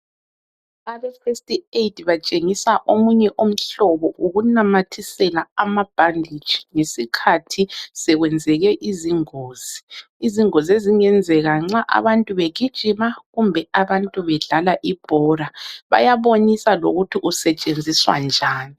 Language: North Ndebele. Abe festi eyidi batshengisa omunye umhlobo wokunamathisela amabhanditshi ngesikhathi sokwenzeke izingozi, izingozi ezingenzeka nxa abantu begijima kumbe abantu bedlala ibhola, bayabonisa lokuthi usetshenziswa njani.